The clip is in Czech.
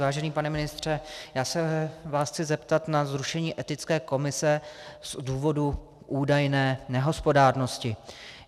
Vážený pane ministře, já se vás chci zeptat na zrušení etické komise z důvodu údajné nehospodárnosti.